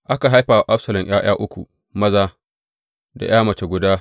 Aka haifa wa Absalom ’ya’ya uku maza da ’ya mace guda.